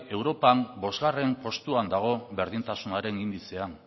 europan bostgarrena postuan dago berdintasunaren indizean